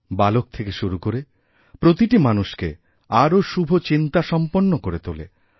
বালক থেকে শুরু করে প্রতিটি মানুষকে আরও শুভচিন্তাসম্পন্ন করে তোলে